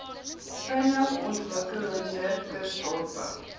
vinnig ontwikkelende kusdorpe